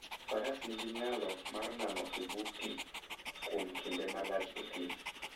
Faras nigi nyalo mar nano e bwo pi kuom kinde malach e thim.